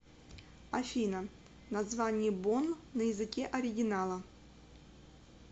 афина название бонн на языке оригинала